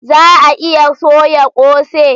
Za a iya soya kose?